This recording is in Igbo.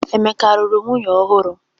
Emeka alụrụ nwunye ọhụrụ?